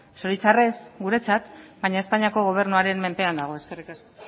zoritxarrez guretzat baina espainiako gobernuaren menpean dago eskerrik asko